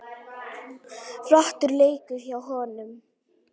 Flottur leikur hjá honum.